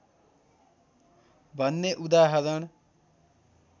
भन्ने उदाहरण